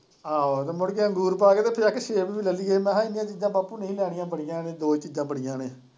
ਆਹੋ ਮੁੜ ਕੇ ਅੰਗੂਰ ਪਾ ਕੇ ਤੇ ਫਿਰ ਆਖੇ ਸੇਬ ਵੀ ਲੈ ਲਈਏ ਮੈਂ ਕਿਹਾ ਇਂਨੀਆਂ ਚੀਜ਼ਾਂ ਬਾਪੂ ਨਹੀਂ ਲੈਣੀਆਂ ਬੜੀਆਂ ਨੇ ਦੋ ਚੀਜ਼ਾਂ ਬੜੀਆਂ ਨੇ।